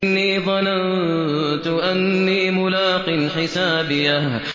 إِنِّي ظَنَنتُ أَنِّي مُلَاقٍ حِسَابِيَهْ